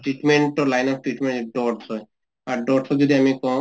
treatment ৰ line of treatment dots হয় । আৰু dots ক যদি আমি কওঁ